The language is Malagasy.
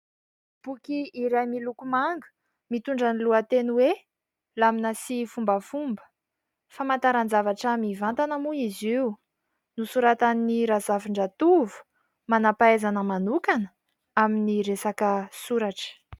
Boky iray miloko manga mitondra ny lohateny hoe ''Lamina sy Fombafomba''. Famantaran-javatra mivantana moa izy io nosoratan'i Razafindratovo manampahaizana manokana amin'ny resaka soratra.